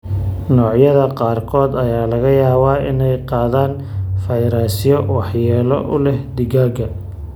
Noocyada qaarkood ayaa laga yaabaa inay qaadaan fayrasyo ??waxyeello u leh digaagga.